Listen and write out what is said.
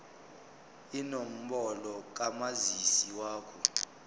inombolo kamazisi wakho